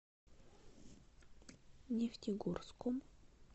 нефтегорском